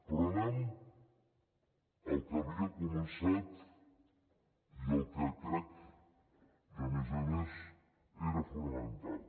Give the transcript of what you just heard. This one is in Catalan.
però anem el que havia començat i el que crec que a més a més era fonamental